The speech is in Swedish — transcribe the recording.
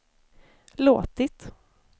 låtit